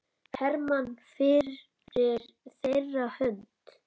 Hermann fyrir þeirra hönd.